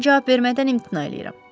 Mən cavab vermədən imtina eləyirəm.